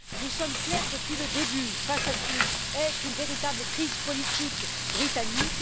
Nous sommes clairs depuis le début, face à ce qui est une véritable crise politique britannique.